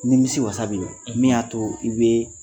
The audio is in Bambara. Nimisiwasa bɛ yen wa? Min y'a to i bɛ